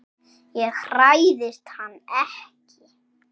Ég hræðist hann ekki.